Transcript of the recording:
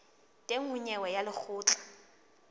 teng ho nyewe ya lekgotla